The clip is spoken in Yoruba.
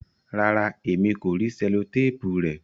Ràrá, ẹ̀mi kò ríì sẹ̀lọ̀tàpù rè